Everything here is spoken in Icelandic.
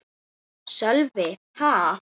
Sölvi: Ha?